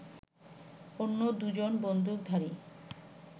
অন্য দু জন বন্দুকধারী